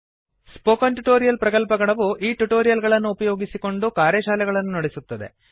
spoken tutorial ಪ್ರಕಲ್ಪಗಣವು ಈ tutorial ಗಳನ್ನು ಉಪಯೋಗಿಸಿಕೊಂಡು ಕಾರ್ಯಶಾಲೆಗಳನ್ನು ನಡೆಸುತ್ತದೆ